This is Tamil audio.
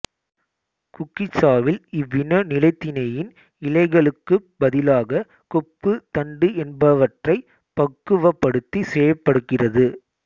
குக்கிச்சாவில் இவ்வின நிலைத்திணையின் இலைகளுக்குப் பதிலாக கொப்பு தண்டு என்பவற்றைப் பக்குவப்படுத்திச் செய்யப்படுகிறது